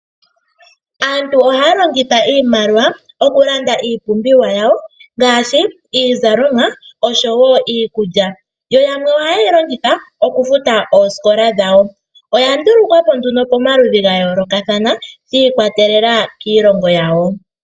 Aantu ohaya longitha iimaliwa okulanda iipumbiwa yawo ngaashi oshowo iikulya yo yamwe ohayeyi longitha oosikola dhawo. Oya ndulukwapo nduno shi ikwatelela kiilongonyawo